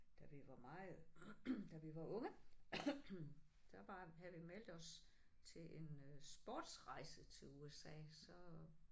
Da vi var meget da vi var unge. Der var havde vi meldt os til en øh sportsrejse til USA så